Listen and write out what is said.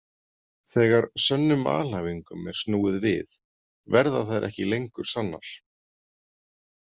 Þegar sönnum alhæfingum er snúið við verða þær ekki lengur sannar.